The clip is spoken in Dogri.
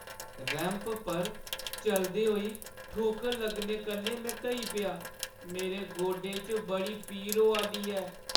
रैंप पर चलदे होई ठोकर लग्गने कन्नै में ढेई पेई। मेरे गोडे च बड़ी पीड़ होआ दी ऐ।